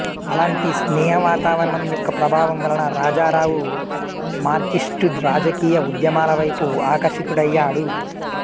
అలాంటి స్నేహ వాతావరణం యొక్క ప్రభావం వలన రాజారావు మార్క్సిస్ట్సు రాజకీయ ఉద్యమాలవైపు ఆకర్షితుడయ్యాడు